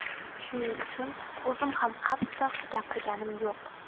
Shuning uchun o‘zim ham qattiq gapirganim yo‘q.